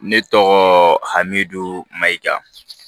Ne tɔgɔɔ hamidu mayiga